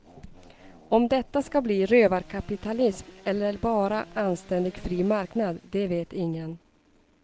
Om detta ska bli rövarkapitalism eller bara anständig fri marknad, det vet ingen.